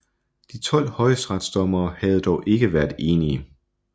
De tolv højesteretsdommere havde dog ikke været enige